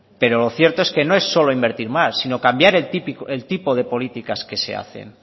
pero lo cierto es que no es solo invertir más sino cambiar el tipo de políticas que se hacen